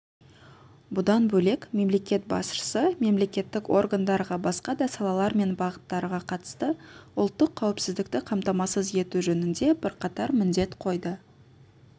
бұдан бөлек мемлекет басшысы мемлекеттік органдарға басқа да салалар мен бағыттарға қатысты ұлттық қауіпсіздікті қамтамасыз ету жөнінде бірқатар міндет қойды